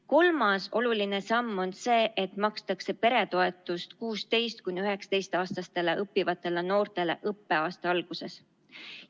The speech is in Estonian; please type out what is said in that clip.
Kolmas oluline samm on see, et makstakse peretoetust 16–19‑aastastele õppivatele noortele õppeaasta alguses.